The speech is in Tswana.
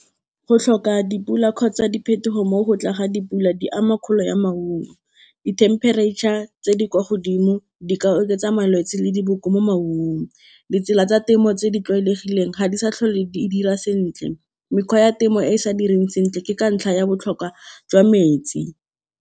Go tlhoka dipula kgotsa diphetogo mo go tla ga dipula, di ama kgolo ya maungo. Di-temperature-ra tse di kwa godimo di ka oketsa malwetse le diboko mo maungong. Ditsela tsa temo tse di tlwaelegileng ga di sa tlhole di dira sentle. Mekgwa ya temo e e sa direng sentle ke ka ntlha ya botlhokwa jwa metsi.